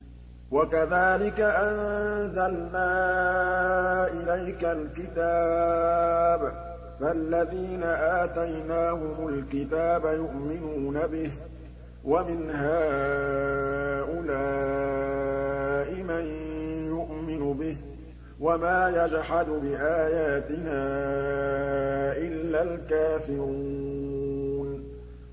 وَكَذَٰلِكَ أَنزَلْنَا إِلَيْكَ الْكِتَابَ ۚ فَالَّذِينَ آتَيْنَاهُمُ الْكِتَابَ يُؤْمِنُونَ بِهِ ۖ وَمِنْ هَٰؤُلَاءِ مَن يُؤْمِنُ بِهِ ۚ وَمَا يَجْحَدُ بِآيَاتِنَا إِلَّا الْكَافِرُونَ